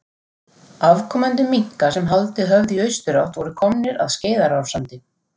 Afkomendur minka sem haldið höfðu í austurátt voru komnir að Skeiðarársandi.